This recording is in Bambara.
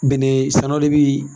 Bɛnnɛ saanaw ne bi